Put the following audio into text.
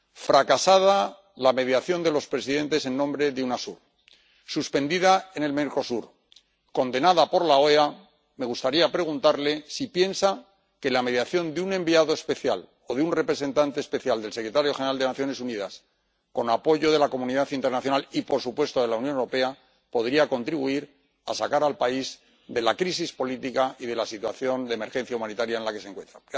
Fracasada la mediación de los presidentes en nombre de UNASUR, suspendida en el Mercosur, condenada por la OEA, me gustaría preguntarle si piensa que la mediación de un enviado especial o de un representante especial del secretario general de las Naciones Unidas, con apoyo de la comunidad internacional y por supuesto de la Unión Europea, podría contribuir a sacar al país de la crisis política y de la situación de emergencia humanitaria en la que se encuentra.